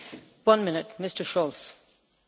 Frau Präsidentin, Herren Präsidenten!